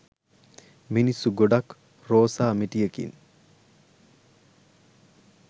මිනිස්සු ගොඩක් රෝසා මිටියකින්